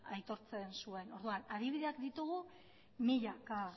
aitortzen zuen orduan adibideak ditugu milaka